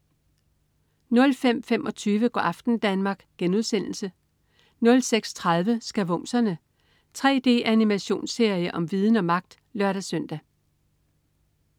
05.25 Go' aften Danmark* 06.30 Skavumserne. 3D-animationsserie om viden og magt! (lør-søn)